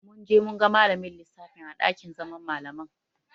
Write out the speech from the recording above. Mun je mun ga malamin lissafin a ɗakin zaman Malaman.